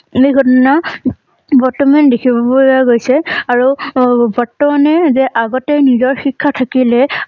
সেই ঘটনা বৰ্তমান দেখিব পৰা গৈছে। আৰুআ বৰ্তমানে যে আগতে নিজৰ শিক্ষা থাকিলে